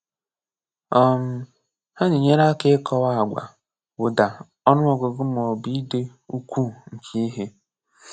um Ha na enyere aka ikọwa agwa, uda, ọnụ ọgụgụ, ma ọ bu ide ukwuu nke ihe.